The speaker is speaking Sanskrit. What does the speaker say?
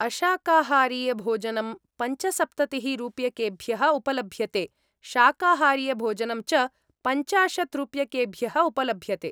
अशाकाहारीयभोजनं पञ्चसप्ततिः रूप्यकेभ्यः उपलभ्यते, शाकाहारीयभोजनं च पञ्चाशत् रूप्यकेभ्यः उपलभ्यते।